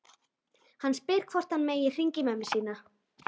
Hann spyr hvort hann megi hringja í mömmu sína.